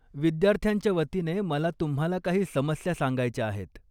विद्यार्थ्यांच्या वतीने, मला तुम्हाला काही समस्या सांगायच्या आहेत.